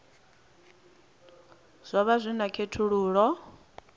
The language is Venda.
zwo vha zwi na khethululoe